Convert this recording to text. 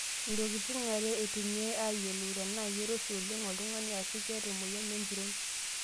Ntokitin are eitumiyai aayiolou tenaa keiroshi oleng' oltung'ani aashu keeta emoyian empiron.